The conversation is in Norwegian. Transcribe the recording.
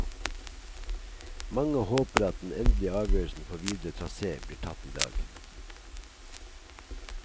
Mange håper at den endelige avgjørelsen for videre trasé blir tatt i dag.